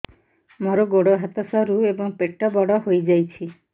ମୋର ଗୋଡ ହାତ ସରୁ ଏବଂ ପେଟ ବଡ଼ ହୋଇଯାଇଛି